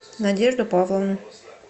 надежду павловну